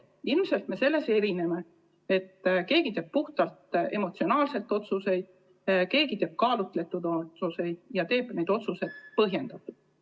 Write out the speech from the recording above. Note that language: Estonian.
Ilmselt me erineme selle poolest, et mõni teeb otsuseid puhtalt emotsionaalselt ning mõni teeb otsuseid kaalutletult ja põhjendatult.